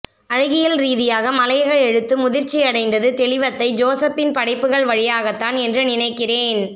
அழகியல்ரீதியாக மலையக எழுத்து முதிர்ச்சியடைந்தது தெளிவத்தை ஜோசப்பின் படைப்புகள் வழியாகத்தான் என்று நினைக்கிறேன்